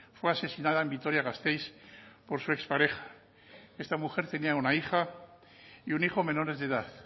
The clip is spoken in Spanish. fue asesinada en vitoria gasteiz por su expareja esta mujer tenía una hija y un hijo menores de edad